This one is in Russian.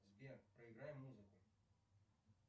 сбер проиграй музыку